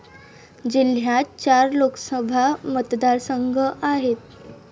जिल्ह्यात चार लोकसभा मतदारसंघ आहेत.